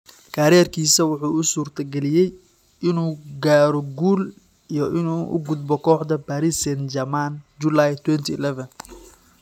Kariirkiisa waxay u suurtagelisay inuu gaaro guul iyo inuu u gudbo kooxda Paris Saint-Germain Juulayi 2011.